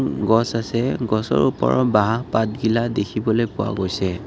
গছ আছে গছৰ ওপৰৰ বাঁহ পাত কিলা দেখিবলৈ পোৱা গৈছে।